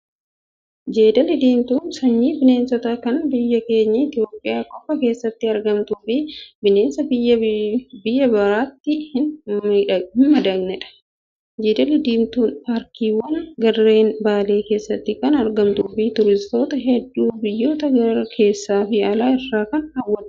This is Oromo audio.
Jeedalli Diimtuun sanyii bineensaa kan biyya keenya Itoophiyaa qofa keessatti argamtuu fi bineensa biyya biraatti hin madaqnedha. Jeedalli diimtuun paarkiiwwan gaarreen Baalee keessatti kan argamtuu fi turistoota hedduu biyyoota keessaa fi alaa irraa kan hawwaattudha.